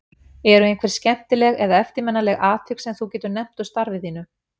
Eru einhver skemmtileg eða eftirminnileg atvik sem þú getur nefnt úr starfi þínu?